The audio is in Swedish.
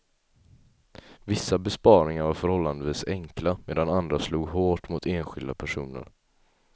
Vissa besparingar var förhållandevis enkla, medan andra slog hårt mot enskilda personer.